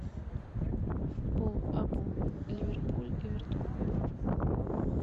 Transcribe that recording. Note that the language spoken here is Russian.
футбол апл ливерпуль эвертон